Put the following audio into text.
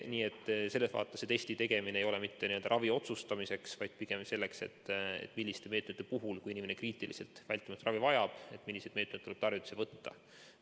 Nii et selles vaates testi tegemine ei ole mitte ravi otsustamiseks, vaid pigem selleks, et, et kui inimene kriitiliselt vältimatut ravi vajab, siis milliseid meetmeid tuleb võtta.